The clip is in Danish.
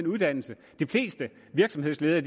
uddannelse de fleste virksomhedsledere